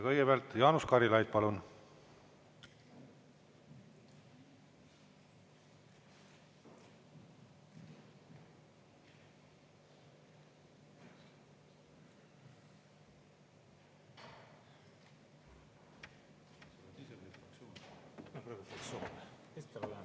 Kõigepealt Jaanus Karilaid, palun!